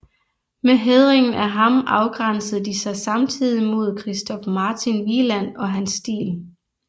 Med hædringen af ham afgrænsede de sig samtidig mod Christoph Martin Wieland og hans stil